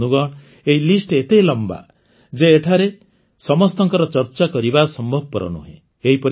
ବନ୍ଧୁଗଣ ଏହି ସୂଚୀ ଏତେ ଲମ୍ବା ଯେ ଏଠାରେ ସମସ୍ତଙ୍କର ଚର୍ଚ୍ଚା କରିବା ସମ୍ଭବପର ନୁହେଁ